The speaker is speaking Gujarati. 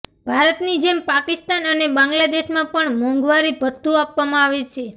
ભારતની જેમ પાકિસ્તાન અને બાંગ્લાદેશમાં પણ મોંઘવારી ભથ્થું આપવામાં આવે છે